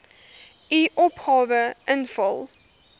u opgawe invul